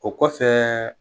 O kosɛbɛ